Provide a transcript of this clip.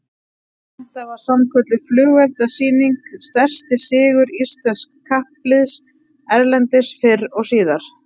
Þetta var sannkölluð flugeldasýning, stærsti sigur íslensks kappliðs erlendis fyrr og síðar